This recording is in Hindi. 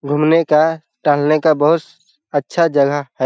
घूमने का टहलने का बहुत स अच्छा जगह है ।